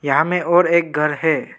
यहाँ मे और एक घर है।